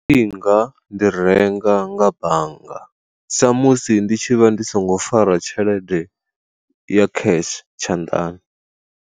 Ndi nga ndi renga nga bannga, sa musi ndi tshi vha ndi songo fara tshelede ya cash tshanḓani.